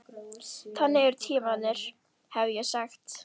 Þannig eru tímarnir, hefði ég sagt.